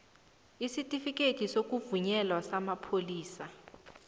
isitifikhethi sokuvunyelwa samapholisa